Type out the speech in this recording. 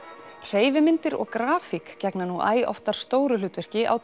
hreyfimyndir og grafík gegna nú æ oftar stóru hlutverki á